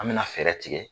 An bɛna fɛɛrɛ tigɛ